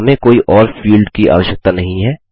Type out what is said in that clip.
और हमें कोई और फील्ड की आवश्यकता नहीं है